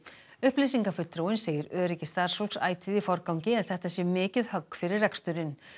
upplýsingafulltrúinn segir öryggi starfsfólks ætíð í forgangi en þetta sé mikið högg fyrir reksturinn